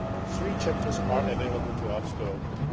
to open. Three chapters are available to